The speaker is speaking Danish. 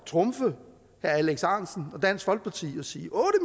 trumfe herre alex ahrendtsen og dansk folkeparti og sige otte